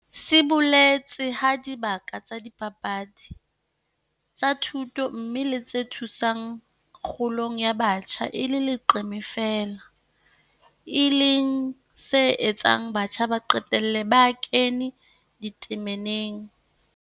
Se boletse ha dibaka tsa dipapadi, tsa thuto mmoho le tse thusang kgolong ya batjha e le leqeme feela, e leng se etsang batjha ba qetelle ba kena ditameneng.